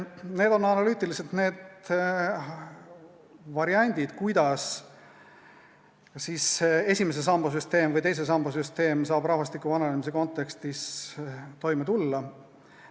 Need on analüütiliselt need variandid, kuidas esimese samba süsteem või teise samba süsteem saab rahvastiku vananemise kontekstis toime tulla.